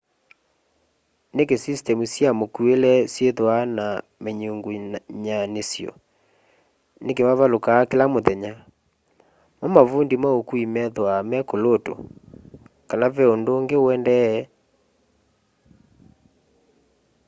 niki sistemu sya mukuile syithwaa na minyungunyanisyo niki mavalukaa kila muthenya mo mavundi ma ukui methwaa me kulutu kana ni ve undu ungi uendee